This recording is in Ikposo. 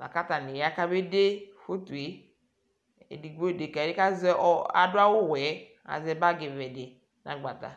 lakatani ya kaba ƶɛ yeyeƶɛlɛ eɖigbo iɖeka kayɛ kaɖʋ awʋwɛ aƶɛ bagiwɛɖi nagbata